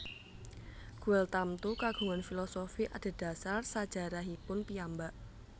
Guel tamtu kagungan filosofi adhedhasar sajarahipun piyambak